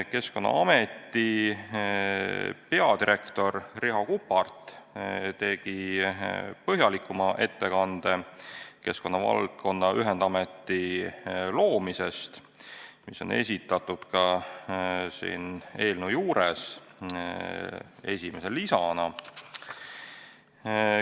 Keskkonnaameti peadirektor Riho Kuppart tegi põhjalikuma ettekande keskkonnavaldkonna ühendameti loomisest, mis on esitatud ka siin eelnõu juures esimese lisana.